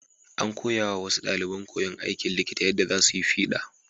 An koyawa wasu ɗaliban koyon aikin likita yadda za su yi fiɗa.